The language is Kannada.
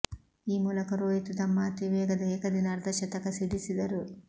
ಈ ಮೂಲಕ ರೋಹಿತ್ ತಮ್ಮ ಅತೀ ವೇಗದ ಏಕದಿನ ಅರ್ಧಶತಕ ಸಿಡಿಸಿದರು